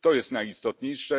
To jest najistotniejsze.